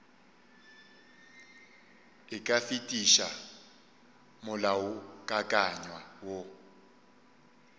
e ka fetiša molaokakanywa woo